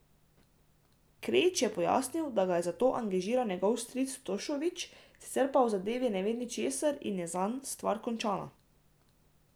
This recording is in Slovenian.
Krejić je pojasnil, da ga je za to angažiral njegov stric Tošović, sicer pa o zadevi ne ve ničesar in je zanj stvar končana.